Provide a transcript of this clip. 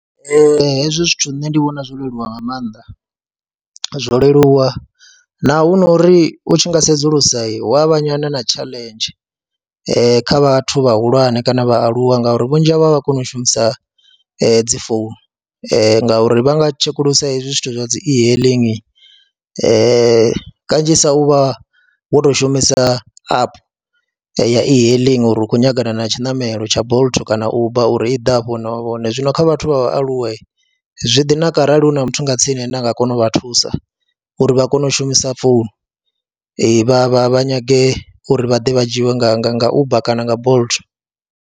Ee, hezwi zwithu nṋe ndi vhona zwo leluwa nga maanḓa zwo leluwa naho hu no uri u tshi nga sedzulusa hu a vha nyana na tshaḽenzhi kha vhathu vhahulwane kana vhaaluwa ngauri vhunzhi havho a vha koni u shumisa dzi founu ngauri vha nga tshekulusa hezwi zwithu zwa dzi e-hailing kanzhisa u vha wo tou shumisa app ya e-hailing uri u khou nyagana na tshiṋamelo tsha Bolt kana Uber uri i ḓe afho hune vhone vha vha hone, zwino kha vhathu vha vhaaluwa zwi ḓi naka kharali hu na muthu nga tsini ane a nga kona u vha thusa uri vha kone u shumisa founu vha vha vha nyage uri vha ḓe vha dzhiiwe nga nga nga Uber kana Bolt.